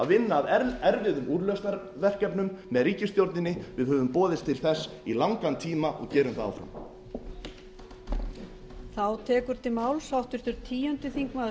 vinna að erfiðum úrlausnarverkefnum með ríkisstjórninni við höfum boðist til þess í langan tíma og gerum það áfram